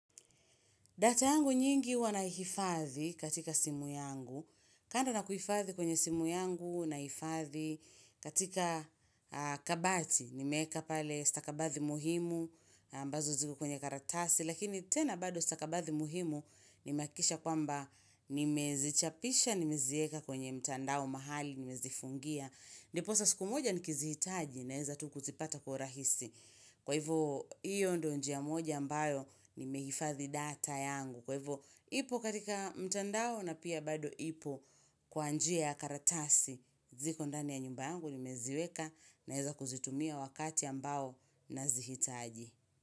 Data yangu nyingi huwa naihifathi katika simu yangu. Kando na kuhifathi kwenye simu yangu naihifathi katika kabati. Nimeweka pale stakabathi muhimu ambazo ziko kwenye karatasi. Lakini tena bado stakabathi muhimu nimehakikisha kwamba nimezichapisha, nimeziweka kwenye mtandao mahali, nimezifungia. Ndiposa siku moja nikizihitaji naweza tu kuzipata kwa urahisi. Kwa hivyo, hiyo ndio njia moja ambayo nimehifathi data yangu. Kwa hivyo, ipo katika mtandao na pia bado ipo kwa njia ya karatasi, ziko ndani ya nyumba yangu nimeziweka naweza kuzitumia wakati ambao nazihitaji.